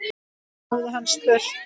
hafði hann spurt.